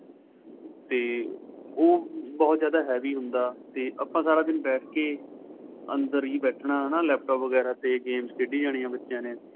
ਤੇ ਉਹ ਬਹੁਤ ਜਿਆਦਾ heavy ਹੁੰਦਾ ਤੇ ਆਪਾ ਸਾਰਾ ਦਿਨ ਬੇਠ ਕੇ ਅੰਦਰ ਹੀ ਬੈਠਨਾ ਹੈਨਾ laptop ਵਗੇਰਾ ਤੇ games ਖੇਡੀ ਜਾਣੀਆ ਬੱਚਿਆ ਨੇ